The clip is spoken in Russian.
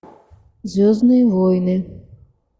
звездные войны